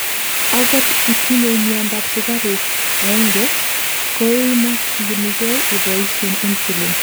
angot itinyei miandap sugaruk 1,koimokyinigei iboishen insulin